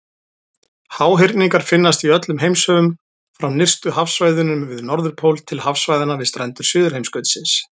Háhyrningar finnast í öllum heimshöfum, frá nyrstu hafsvæðunum við Norðurpól til hafsvæðanna við strendur Suðurheimskautsins.